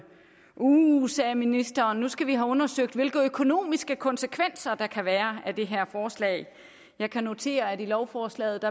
uh sagde ministeren nu skal vi have undersøgt hvilke økonomiske konsekvenser der kan være af det her forslag jeg kan notere at i lovforslaget